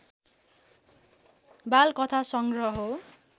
बालकथा संग्रह हो